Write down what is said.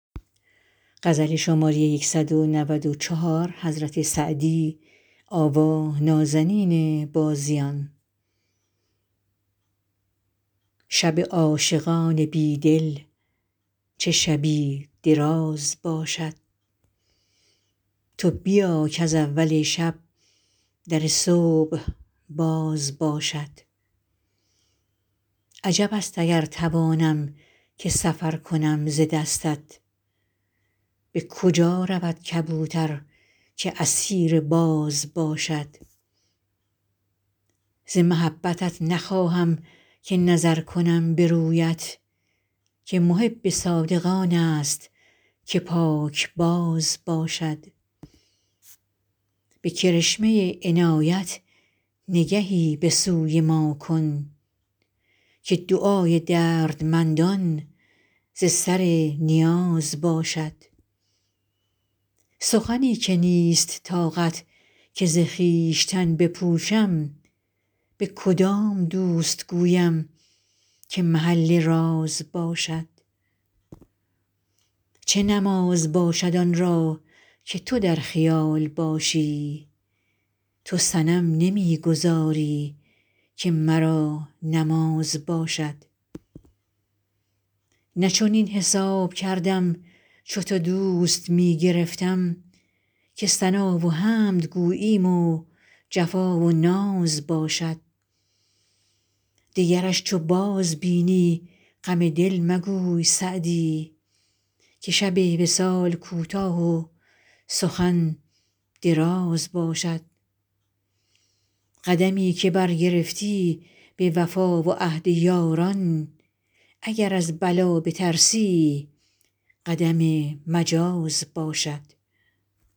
شب عاشقان بی دل چه شبی دراز باشد تو بیا کز اول شب در صبح باز باشد عجب است اگر توانم که سفر کنم ز دستت به کجا رود کبوتر که اسیر باز باشد ز محبتت نخواهم که نظر کنم به رویت که محب صادق آن است که پاکباز باشد به کرشمه عنایت نگهی به سوی ما کن که دعای دردمندان ز سر نیاز باشد سخنی که نیست طاقت که ز خویشتن بپوشم به کدام دوست گویم که محل راز باشد چه نماز باشد آن را که تو در خیال باشی تو صنم نمی گذاری که مرا نماز باشد نه چنین حساب کردم چو تو دوست می گرفتم که ثنا و حمد گوییم و جفا و ناز باشد دگرش چو بازبینی غم دل مگوی سعدی که شب وصال کوتاه و سخن دراز باشد قدمی که برگرفتی به وفا و عهد یاران اگر از بلا بترسی قدم مجاز باشد